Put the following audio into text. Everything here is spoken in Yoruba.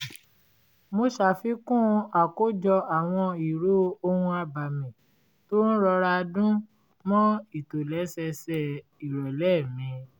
mo sàfikún àkójọ àwọn ìró ohun-abẹ̀mí tó ń rọra dún mọ́ ìtòlẹ́sẹẹsẹ ìrọ̀lẹ́ mi